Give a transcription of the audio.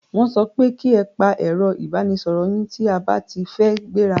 Wọ́n so pe ki e pa ẹ̀ro ìbánisoro yín tí a ba ti fẹ́ gbẹ́ra!